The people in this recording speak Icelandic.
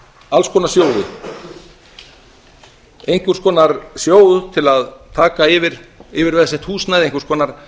alls konar sjóði einhvers konar sjóð til að taka yfir yfirveðsett húsnæði einhvers konar